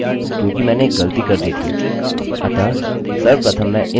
और मैं एक नया वेरिएबल बनाऊँगा हम इसे update data के रूप में कमेंट करेंगे